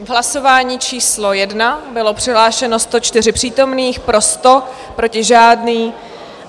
V hlasování číslo 1 bylo přihlášeno 104 přítomných, pro 100, proti žádný.